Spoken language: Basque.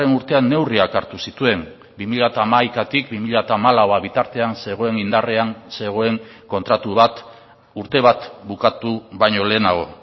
urtean neurriak hartu zituen bi mila hamaikatik bi mila hamalau bitartean zegoen indarrean zegoen kontratu bat urte bat bukatu baino lehenago